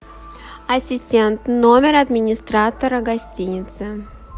ассистент номер администратора гостиницы